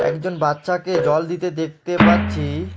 একজন বাচ্চাকে জল দিতে দেখতে পাচ্ছি।